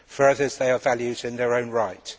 For others they are values in their own right.